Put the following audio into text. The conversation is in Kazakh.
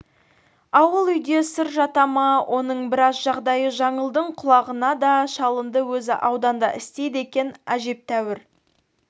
ауыл-үйде сыр жата ма оның біраз жағдайы жаңылдың құлағына да шалынды өзі ауданда істейді екен әжептәуір